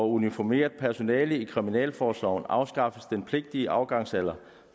uniformeret personale i kriminalforsorgen afskaffes den pligtige afgangsalder